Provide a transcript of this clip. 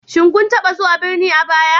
Shin kun taba zuwa birni a baya